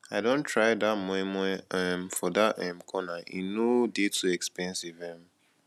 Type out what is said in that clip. i don try dat moi moi um for dat um corner e no dey too expensive um